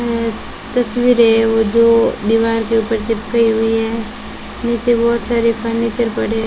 ऐं तस्वीरें वो जो दीवार के ऊपर चिपकाई हुई है नीचे बहुत सारे फर्नीचर पड़े हैं।